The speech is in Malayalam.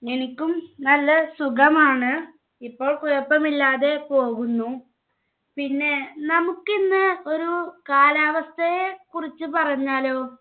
എനിക്കും നല്ല സുഖമാണ്. ഇപ്പം കുഴപ്പമില്ലാതെ പോകുന്നു. പിന്നെ നമുക്കിന്ന് ഒരു കാലാവസ്ഥയെ കുറിച്ച് പറഞ്ഞാലോ